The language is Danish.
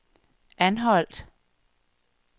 Anholt